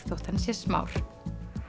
þótt hann sé smár